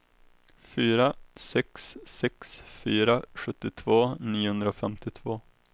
fyra sex sex fyra sjuttiotvå niohundrafemtiotvå